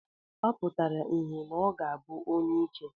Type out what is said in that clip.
Ọ pụtara ìhè na ọ ga-abụ onyeike.